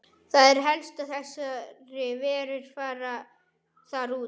Það er helst að þessar verur fari þar út.